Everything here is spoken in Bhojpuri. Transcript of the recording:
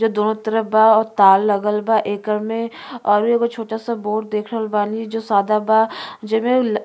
जो दोनों तरफ बा और तार लागल एकर में और एगो छोटा सा बोर्ड देखल बानी जो सदा बा। जेमे --